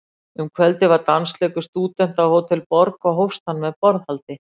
Um kvöldið var dansleikur stúdenta að Hótel Borg, og hófst hann með borðhaldi.